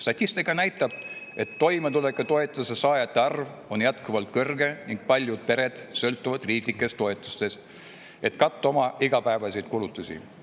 Statistika näitab, et toimetulekutoetuse saajate arv on jätkuvalt kõrge ning paljud pered sõltuvad riiklikest toetustest, et katta oma igapäevaseid kulutusi.